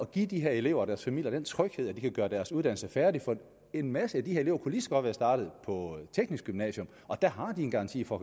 give de her elever og deres familie den tryghed at de kan gøre deres uddannelse færdig for en masse af de her elever kunne lige så godt være startet på teknisk gymnasium der har de en garanti for